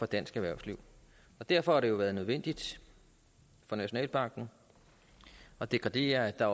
dansk erhvervsliv derfor har det jo været nødvendigt for nationalbanken at dekretere at der